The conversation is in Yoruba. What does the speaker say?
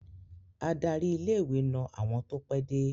Adarí ilé-ìwé na àwọn tó pẹ́de.